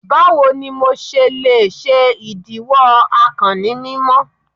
Bawo ni MO ṣe le ṣe idiwọ akàn ni mimọ?